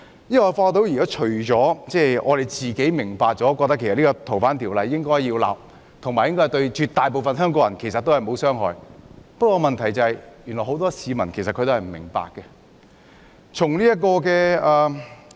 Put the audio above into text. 因為我發現只有我們明白應修訂《逃犯條例》，而且修例對絕大部分香港人沒有傷害，問題是很多市民都不明白。